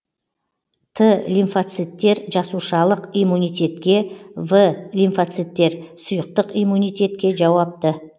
т лимфоциттер жасушалық иммунитетке в лимфоциттер сұйықтық иммунитетке жауапты